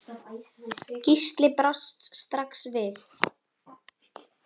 Gísli brást strax við.